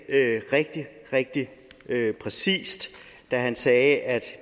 rigtig rigtig præcist da han sagde at